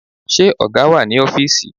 Ṣé ọ̀gá wà ní ọfísì?